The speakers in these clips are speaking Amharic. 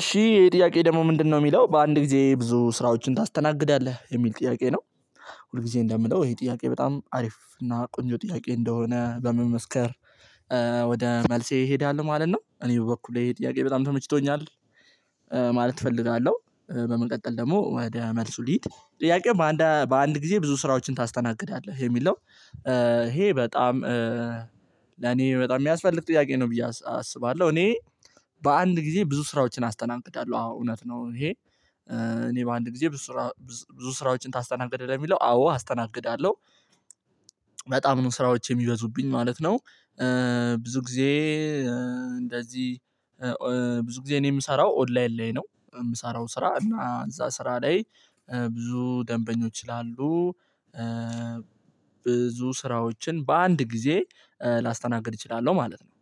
እሺ ይሄ ጥያቄ ደግሞ ምንድነው ሚለው በአንድ ጊዜ ብዙ ስራዎችን ታስተናግዳለህ የሚል ጥያቄ ነው። ሁልጊዜ እንደምለው ይሄ ጥያቄ በጣም አሪፍ እና ቆንጆ ጥያቄ እንደሆነ በመመስከር ወደ መልሴ እሄዳለሁ ማለት ነው። እኔ በበኩሌ ይሄ ጥያቄ በጣም ተመችቶኛል እፈልጋለሁ በመቀጠል ደግሞ ወደ መልሱ ልሂድ። ጥያቄው በአንዳ በአንድ ጊዜ ብዙ ስራዎችን ታስተናግዳለህ የሚል ነው። ይሄ በጣም ለኔ በጣም ሚያስፈልግ ጥያቄ ነው ብዬ አስ አስባለሁ። እኔ በአንድ ጊዜ ብዙ ስራዎችን አስተናግዳለሁ አዎ እውነት ነው። ይሄ እኔ በአንድ ጊዜ ብዙ ስራ ብዝ ብዙ ስራዎችን ታስተናግዳለህ ለሚለው አዎ አስተናግዳለሁ። በጣም ነው ስራዎች የሚበዙብኝ ማለት ነው። ብዙ ጊዜ እንደዚህ ኦ ብዙ ጊዜ እኔ ምሰራው ኦንላይን ላይ ነው። እምሰራው ስራ እና እዛ ስራ ላይ ብዙ ደንበኞች ስላሉ። ብዙ ስራዎችን በአንድ ጊዜ ላስተናግድ እችላለሁ ማለት ነው።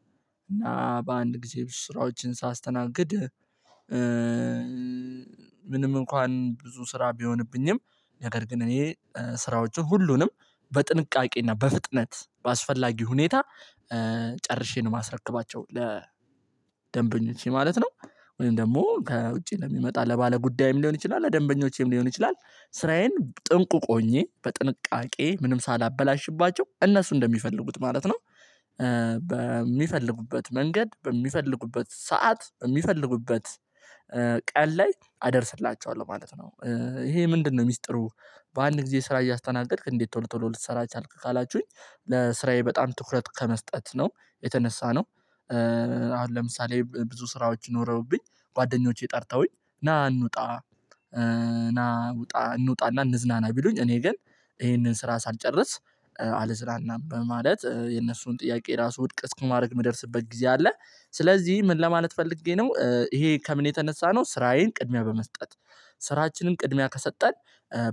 እና በአንድ ጊዜ ስራዎችን ሳስተናግድ። ምንም እንኳን ብዙ ስራ ቢሆንብኝም ነገር ግን እኔ ስራዎቹ ሁሉንም በጥንቃቄ እና በፍጥነት በአስፈላጊ ሁኔታ ጨርሼ ነው ማስረክባቸው ለ ደንበኞቼ ማለት ነው። ወይም ደግሞ ከውጪ ለሚመጣ ለባለጉዳይም ሊሆን ይችላል ለደንበኞቼም ሊሆን ይችላል። ስራዬን ጥንቁቅ ሆኜ በጥንቃቄ ምንም ሳላበላሽባቸው እነሱ እንደሚፈልጉት ማለት ነው። በሚፈልጉበት መንገድ በሚፈልጉበት ሰዓት በሚፈልጉበት ቀን ላይ አደርስላቸዋለሁ ማለት ነው። ይሄ ምንድነው ሚስጥሩ? በአንድ ጊዜ ስራ እያስተናገድክ እንዴት ቶሎ ቶሎ ልትሰራ ቻልክ ካላችሁኝ? ለስራዬ በጣም ትኩረት ከመስጠት ነው የተነሳ ነው። አሁን ለምሳሌ ብ ብዙ ስራዎች ኖረውብኝ ጓደኞቼ ጠርተውኝ ና እንውጣ ና እንውጣ እና እንዝናና ቢሉኝ እኔ ግን ይሄንን ስራ ሳልጨርስ አልዝናናም በማለት የነሱን ጥያቄ ራሱ ውድቅ እስከማረግ ምደርስበት ጊዜ አለ። ስለዚህ ምን ለማለት ፈልጌ ነው ይሄ ከምን የተነሳ ነው ስራዬን ቅድሚያ በመስጠት ስራችንን ቅድሚያ ከሰጠን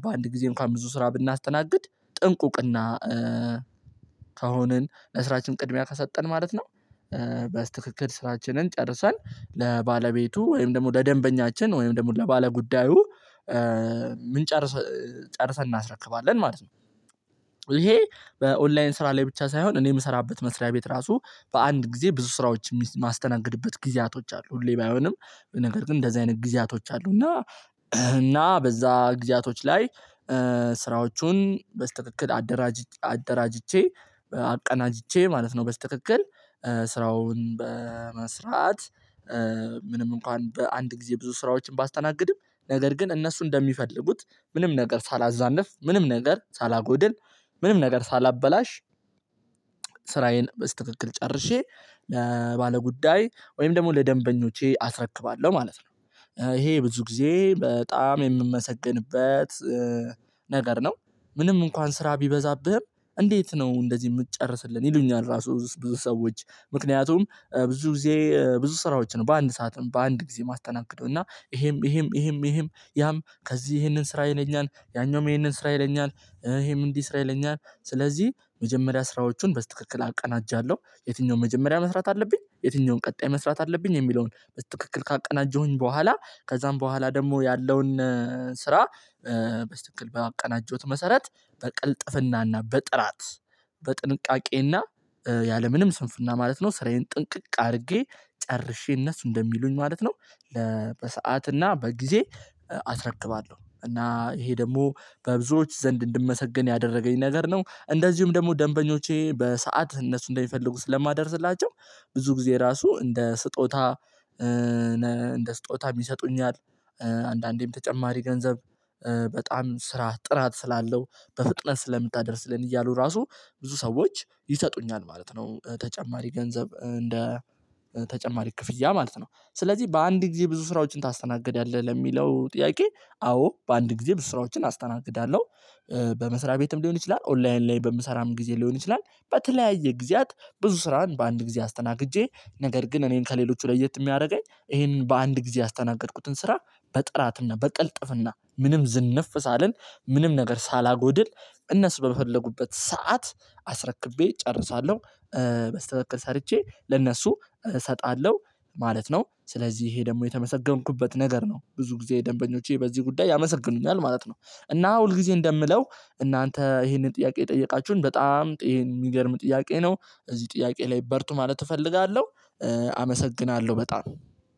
በአንድ ጊዜ እንኳን ብዙ ስራ ብናስተናግድ ጥንቁቅ እና ከሆንን ለስራችን ቅድሚያ ከሰጠን ማለት ነው። በስትክክል ስራችንን ጨርሰን ለባለቤቱ ወይም ደግሞ ለደንበኛችን ወይም ደግሞ ለባለጉዳዩ ምን ጨርስ ጨርሰን እናስረክባለን ማለት ነው። ይሄ በኦንላይን ስራ ላይ ብቻ ሳይሆን እኔ ምሰራበት መስሪያ ቤት ራሱ በአንድ ጊዜ ብዙ ስራዎች ሚስ ማስተናግድበት ጊዜያቶች አሉ። ሁሌ ባይሆንም በነገር ግን እንደዚህ አይነት ጊዜያቶች አሉ። እና እና በዛ ጊዜያቶች ላይ ስራዎቹን በስትክክል አደራጅ አደራጅቼ አቀናጅቼ ማለት ነው። በስትክክል ስራውን በመስራት ምንም እንኳን በአንድ ጊዜ ብዙ ስራዎችን ባስተናግድም ነገር ግን እነሱ እንደሚፈልጉት ምንም ነገር ሳላዛንፍ ምንም ነገር ሳላጎድል ምንም ነገር ሳላበላሽ ስራዬን በስትክክል ጨርሼ ለባለጉዳይ ወይም ደግሞ ለደንበኞቼ አስረክባለሁ ማለት ነው። ይሄ ብዙ ጊዜ በጣም የምመሰግንበት ነገር ነው። ምንም እንኳን ስራ ቢበዛብህም እንዴት ነው እንደዚህ ምትጨርስልን ይሉኛል? ራሱ ብዙ ብዙ ሰዎች ምክንያቱም ብዙ ጊዜ ብዙ ስራዎች ነው በአንድ ሰዓትም በአንድ ጊዜ ማስተናገደው እና ይሄም ይሄም ይሄም ይሄም ያም ከዚህ ይሄንን ስራ ይለኛል ያኛውም ይሄንን ስራ ይለኛል። ይሄም እንዲህ ስራ ይለኛል ስለዚህ መጀመሪያ ስራዎቹን በስትክክል አቀናጃለሁ። የትኛውን መጀመሪያ መስራት አለብኝ የትኛውን ቀጣይ መስራት አለብኝ የሚለውን በስትክክል ካቀናጀሁኝ በኋላ ከዛም በኋላ ደግሞ ያለውን ስራ በስትክክል ባቀናጀሁት መሰረት በቅልጥፍና እና በጥራት በጥንቃቄ እና ያለምንም ስንፍና ማለት ነው። ስራዬን ጥንቅቅ አርጌ ጨርሼ እነሱ እንደሚሉኝ ማለት ነው። ለ በሰአት እና በጊዜ አስረክባለሁ እና ይሄ ደግሞ በብዙዎች ዘንድ እንድመሰገን ያደረገኝ ነገር ነው። እንደዚሁም ደግሞ ደንበኞቼ በሰአት እነሱ እንደሚፈልጉ ስለማደርስላቸው ብዙ ጊዜ ራሱ እንደ ስጦታ ነ እንደ ስጦታም ይሰጡኛል። አንዳንዴም ተጨማሪ ገንዘብ በጣም ስራህ ጥራት ስላለው በፍጥነት ስለምታደርስልን እያሉ ራሱ ብዙ ሰዎች ይሰጡኛል ማለት ነው። ተጨማሪ ገንዘብ እንደ ተጨማሪ ክፍያ ማለት ነው። ስለዚህ በአንድ ጊዜ ብዙ ስራዎችን ታስተናግዳለህ ለሚለው ጥያቄ። አዎ በአንድ ጊዜ ብዙ ስራዎችን አስተናግዳለሁ። በመስሪያ ቤትም ሊሆን ይችላል ኦንላይን ላይ በምሰራም ጊዜ ሊሆን ይችላል። በተለያየ ጊዜያት ብዙ ስራን በአንድ ጊዜ አስተናግጄ ነገር ግን እኔን ከሌሎቹ ለየት እሚያረገኝ ይሄንን በአንድ ጊዜ ያስተናገድኩትን ስራ በጥራት እና በቅልጥፍና ምንም ዝንፍ ሳልል ምንም ነገር ሳላጎድል እነሱ በመፈለጉበት ሰዓት አስረክቤ እጨርሳለሁ። በስትክክል ሰርቼ ለእነሱ እሰጣለሁ ማለት ነው። ስለዚህ ይሄ ደግሞ የተመሰገንኩበት ነገር ነው። ብዙ ጊዜ ደንበኞቼ በዚህ ጉዳይ ያመሰግኑኛል ማለት ነው። እና ሁልጊዜ እንደምለው እናንተ ይሄንን ጥያቄ የጠየቃችሁን በጣም ጥዬን ሚገርም ጥያቄ ነው። በዚህ ጥያቄ ላይ በርቱ ማለት እፈልጋለሁ። አመሰግናለሁ በጣም።